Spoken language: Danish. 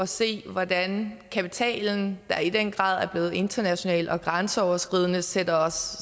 se hvordan kapitalen der i den grad er blevet international og grænseoverskridende sætter os